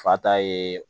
Fata ye